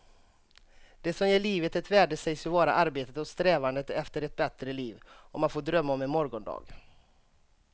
Det som ger livet ett värde sägs ju vara arbetet och strävandet efter ett bättre liv, om att få drömma om en morgondag.